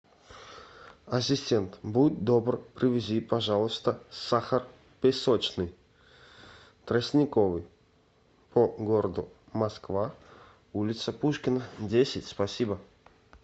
ассистент будь добр привези пожалуйста сахар песочный тростниковый по городу москва улица пушкина десять спасибо